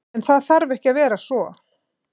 En það þarf ekki að vera svo.